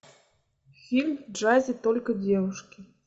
фильм в джазе только девушки